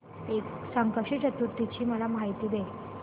संकष्टी चतुर्थी ची मला माहिती दे